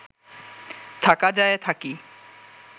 থাকা যায়, থাকি